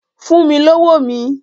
Fún mi lówó mi!